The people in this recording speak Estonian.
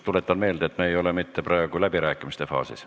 Tuletan meelde, et me ei ole praegu läbirääkimiste faasis.